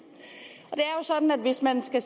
hvis man skal